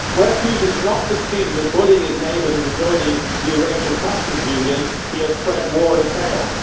Where Putin has not succeeded in bullying his neighbours into joining the Eurasian Customs Union, he has spread war and chaos.